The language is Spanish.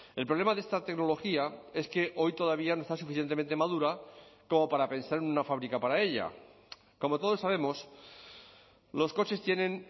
el problema de esta tecnología es que hoy todavía no está suficientemente madura como para pensar en una fábrica para ella como todos sabemos los coches tienen